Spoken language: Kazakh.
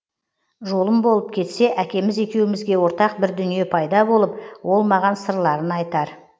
жолым болып кетсе әкеміз екеумізге ортақ бір дүние пайда болып ол маған сырларын айтар